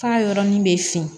K'a yɔrɔnin bɛ fin